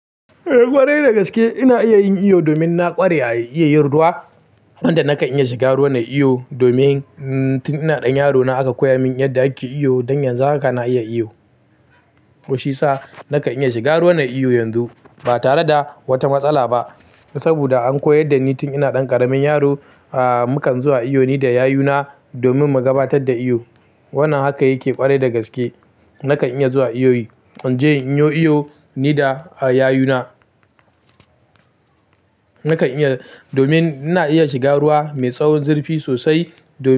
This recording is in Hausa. Eh ƙwarai dagaske ina iya yin iyo domin na ƙware a iya yin ruwa. Wanda nakan iya shiga ruwa nai iyo domin tin ina ɗan yaro na aka koya min yadda ake iyo. Dan yanzu haka na iya iyo. Kuma shi sa nakan iya shiga ruwanan iyo yanzu ba tare da wata matsala ba. Saboda an koyar da ni tin ina ɗan ƙaramin yaro. Ah mukan zuwa iyo ni da yayuna domin mu gabatar da iyo. Wannan haka yake ƙwarai dagaske. Nakan iya zuwa iyoyi. Inje inyo iyo ni da yayuna. Nakan iya domin ina iya shiga ruwa mai tsawon zurfi sosai domin.